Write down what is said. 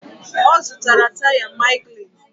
Ọ zụtara taya Michelin?